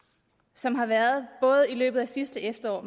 som har været både i løbet af sidste efterår og